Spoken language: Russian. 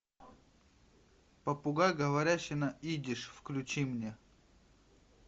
попугай говорящий на идиш включи мне